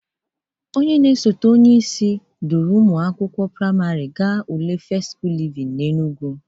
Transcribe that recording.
Osote onyeisi duru ụmụ akwụkwọ prịmarị ga ule fest skul livin n'Enugwu.